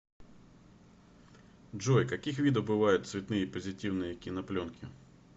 джой каких видов бывают цветные позитивные кинопленки